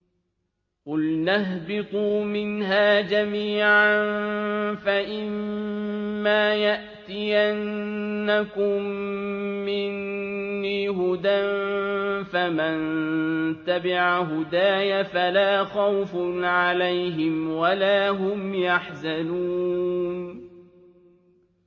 قُلْنَا اهْبِطُوا مِنْهَا جَمِيعًا ۖ فَإِمَّا يَأْتِيَنَّكُم مِّنِّي هُدًى فَمَن تَبِعَ هُدَايَ فَلَا خَوْفٌ عَلَيْهِمْ وَلَا هُمْ يَحْزَنُونَ